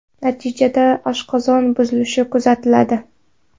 Natijada oshqozon buzilishi kuzatiladi.